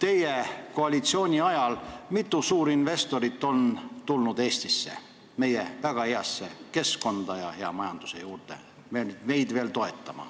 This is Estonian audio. Mitu suurinvestorit on teie koalitsiooni ajal tulnud Eestisse, meie väga heasse keskkonda, meie majandust veel toetama?